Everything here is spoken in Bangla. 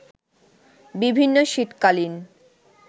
বিভিন্ন শীতকালীন